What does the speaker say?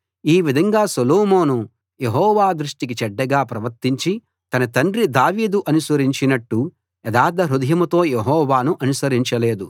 ఈ విధంగా సొలొమోను యెహోవా దృష్టికి చెడ్డగా ప్రవర్తించి తన తండ్రి దావీదు అనుసరించినట్టు యథార్థహృదయంతో యెహోవాను అనుసరించలేదు